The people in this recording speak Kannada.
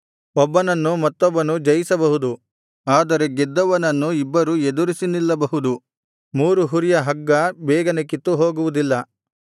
ಒಬ್ಬನನ್ನು ಮತ್ತೊಬ್ಬನು ಜಯಿಸಬಹುದು ಆದರೆ ಗೆದ್ದವನನ್ನು ಇಬ್ಬರು ಎದುರಿಸಿ ನಿಲ್ಲಿಸಬಹುದು ಮೂರು ಹುರಿಯ ಹಗ್ಗ ಬೇಗನೆ ಕಿತ್ತುಹೋಗುವುದಿಲ್ಲ